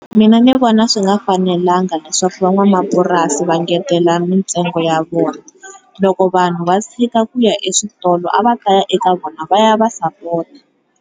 Mina ni vona swi nga fanelangia leswaku van'wamapurasi va ngetela mintsengo ya vona loko vanhu va tshika ku ya eswitolo a va ta ya eka vona va ya va sapota.